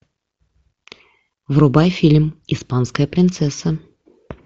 врубай фильм испанская принцесса